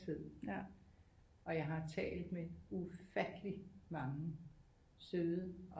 Altid og jeg har talt med ufattelig mange søde og